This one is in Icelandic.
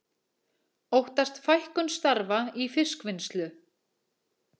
Óttast fækkun starfa í fiskvinnslu